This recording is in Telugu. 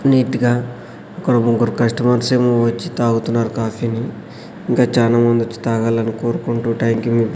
నీట్ గా ఇక్కడ ఒక ముగ్గురు కస్టమర్స్ ఏమో వచ్చి తాగుతున్నారు కాఫీ ని ఇంకా చానా మంది వచ్చి తాగాలని కోరుకుంటూ థాంక్ యూ మీ --